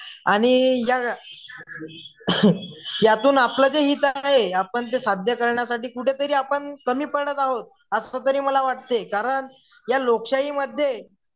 आणि या Coughing यातून आपलं जे हित आहे आपण ते साध्य करण्यासाठी कुठेतरी आपण कमी पडत अहोत असंतरी मला वाटतंय कारण या लोकशाहीमध्ये